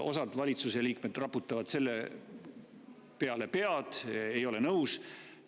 Osa valitsuseliikmeid raputab seepeale pead, ei ole nõus.